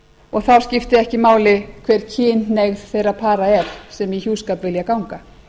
og þá skipti ekki máli hver kynhneigð þeirra para er sem í hjúskap vilja ganga